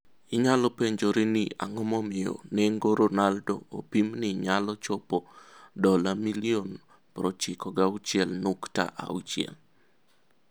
Inyalo penjori ni ang'o momiyo nengo Ronaldo opim ni nyalo chopo $96,6 milioni.